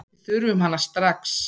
Við þurfum hana strax.